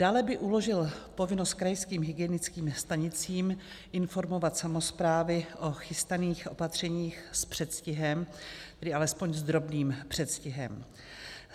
Dále by uložil povinnost krajským hygienickým stanicím informovat samosprávy o chystaných opatřeních s předstihem, tedy alespoň s drobným předstihem.